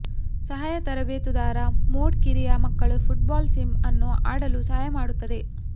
ಸಹಾಯ ತರಬೇತುದಾರ ಮೋಡ್ ಕಿರಿಯ ಮಕ್ಕಳು ಫುಟ್ಬಾಲ್ ಸಿಮ್ ಅನ್ನು ಆಡಲು ಸಹಾಯ ಮಾಡುತ್ತದೆ